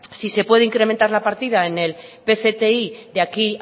si se puede incrementar la partida en el pcti de aquí